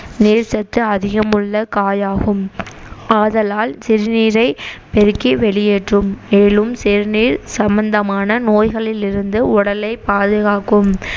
நீர்சத்து அதிகம் உள்ள காயாகும் ஆதலால் சிறுநீரை பெருக்கி வெளியேற்றும் மேலும் சிறுநீர் சம்மந்தமான நோய்களில் இருந்து உடலை பாதுகாக்கும்